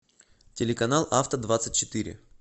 телеканал авто двадцать четыре